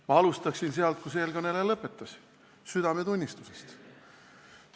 Ma alustan sealt, kus eelkõneleja lõpetas – südametunnistusest.